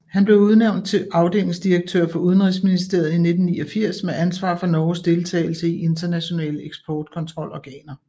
Han blev udnævnt til afdelingsdirektør for Udenrigsministeriet i 1989 med ansvar for Norges deltagelse i internationale eksportkontrolorganer